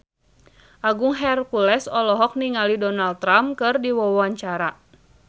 Agung Hercules olohok ningali Donald Trump keur diwawancara